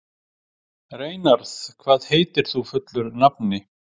Reynarð, hvað heitir þú fullu nafni?